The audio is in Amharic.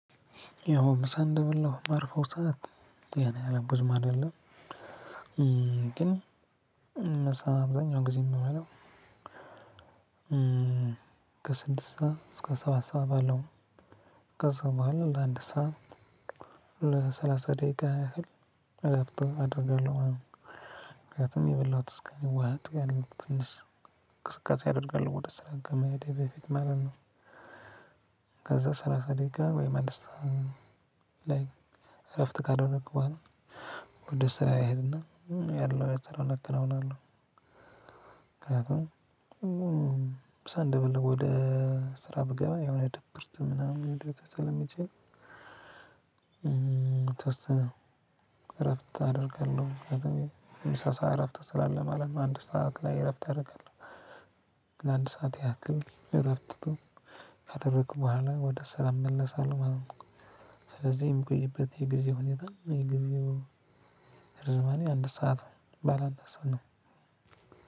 ያው ምሳ እንደበላሁ የማርፈው ሰዓት ያን ያህል ብዙም አይደለም። ግን ምሳ አብዛኛውን ጊዜ የምበለው። ከስድስት ሰዓት እስከ ሰባት ሰዓት ባለው ከዛ በኋላ ለአንድ ሰዓት ለሰላሳ ደቂቃ ያህል እረፍት አደርጋለሁ ማለት ነው። ምክንያቱም የበላሁት እስከሚዋሀድ ያሉት ትንሽ እንቅስቃሴ አደርጋለሁ ወደ ስራ ከመሄዴ በፊት ማለት ነው። ከዛ ሰላሳ ደቂቃ ወይም አንድ ስዓት እረፍት ካደረኩ በኋላ ወደ ስራዬ እሑድና ያለውን ስራ አከናውናለሁ። ምክንያቱም ምሳ እንደ በላሁ ወደ ስራ ብገባ የሆነ ድብርት ምናምን ሊደረስ ስለሚችል። የተወሰነ እረፍት አደርጋለሁ የምሳ ሰዓት እረፍት ስላለ ማለት ነው። አንድ ሰዓት ላይ እረፍት አደርጋለሁ ለአንድ ሰዓት ያክል እረፍት ካደረኩ በኋላ ወደ ሰላም መለሳለሁ ማለት ነው። ስለዚህ የምቆይበት የጊዜ ሁኔታ የጊዜው ርዝማኔ አንድ ሰዓት ነው ባላ አንድ ሰዓት ነው።